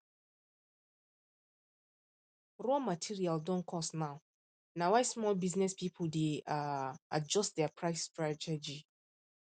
raw material don cost now na why small business people dey dey um adjust um their price strategy